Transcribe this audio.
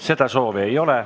Seda soovi ei ole.